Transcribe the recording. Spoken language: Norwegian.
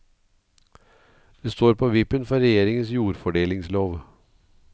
Det står på vippen for regjeringens jordfordelingslov.